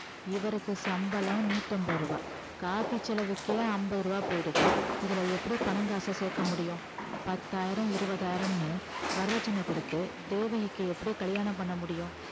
இவருக்கு சம்பளம் நூத்தி அம்பது ரூபா coffee செலவுக்கே அம்பது ரூபா போயிடுது இதுல எப்படி பணம் காசை சேர்க்க முடியும் பத்தாயிரம் இருபதாயிரம்னு வரதட்சணை கொடுத்து தேவகிக்கு எப்படி கல்யாணம் பண்ண முடியும்